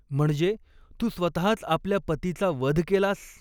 म्हणजे, तू स्वतःच आपल्या पतीचा वध केलास.